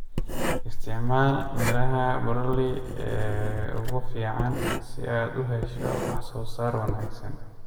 Isticmaal miraha broiler ee ugu fiican si aad u hesho wax soo saar wanaagsan.